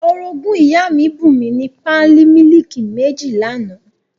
Orogún ìyá mi bùn mi ní pálí mílìkì méjì l'àná